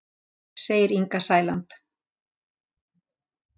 Segir Inga Sæland.